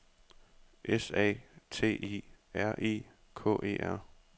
S A T I R I K E R